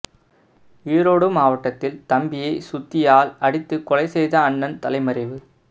ஈரோடு மாவட்டத்தில் தம்பியை சுத்தியால் அடித்துக் கொலை செய்த அண்ணன் தலைமறைவு